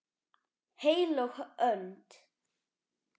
HEILÖG ÖND